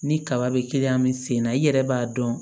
Ni kaba bɛ min sen na i yɛrɛ b'a dɔn